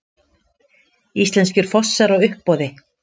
Íslenskir fossar á uppboði